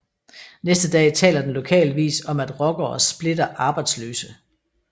Næste dag taler den lokale avis om at ROCKERE SPLITTER ARBEJDSLØSE